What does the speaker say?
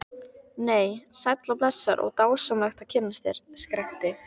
Nei, sæll og blessaður og dásamlegt að kynnast þér, skrækti